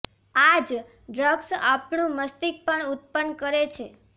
આ જ ડ્રગ્ઝ આપણું મસ્તિષ્ક પણ ઉત્પન્ન કરે છે